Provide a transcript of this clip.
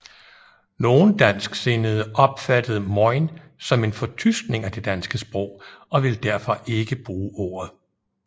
Nogle dansksindede opfattede mojn som en fortyskning af det danske sprog og ville derfor ikke bruge ordet